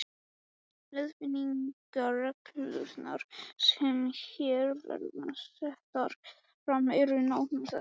Leiðbeiningarreglurnar, sem hér verða settar fram, eru nánar þessar